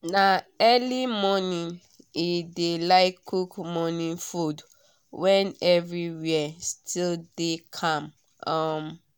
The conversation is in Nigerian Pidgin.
na early morning e dey like cook morning food when everywhere still dey calm. um